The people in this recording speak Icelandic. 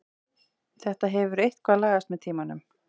Þetta hefur eitthvað lagast með tímanum.